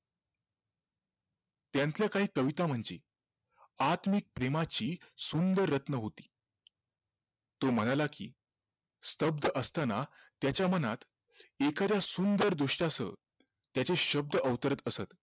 त्यांच काय कविता म्हणजे आत्मिक प्रेमाची सुंदर रत्न होती तो म्हणाला कि स्तब्ध असताना त्याच्या मनात एखाद्या सुंदर दृश्यासह त्याचे शब्द अवतरत असत